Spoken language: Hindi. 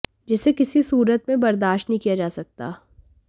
जिसे किसी सूरत में बर्दाश्त नहीं किया जा सकता